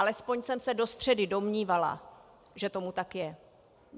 Alespoň jsem se do středy domnívala, že tomu tak je.